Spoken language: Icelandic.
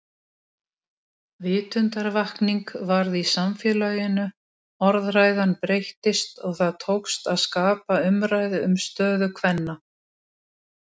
Ólíklegt þykir að annarra þjóða neftóbak sé skaðlegra en okkar.